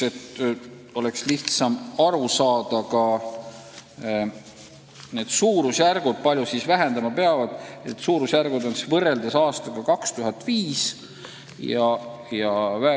Et oleks lihtsam aru saada, nimetan ka suurusjärgud, kui palju siis heitkoguseid 2020. aastaks vähendama peab.